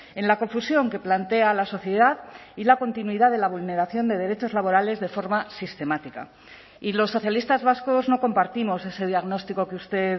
en la confusión que plantea la sociedad y la continuidad de la vulneración de derechos laborales de forma sistemática y los socialistas vascos no compartimos ese diagnóstico que usted